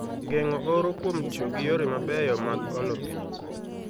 Geng'o oro kuom tiyo gi yore mabeyo mag olo pi